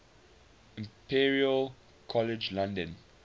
imperial college london